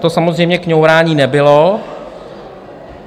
To samozřejmě kňourání nebylo.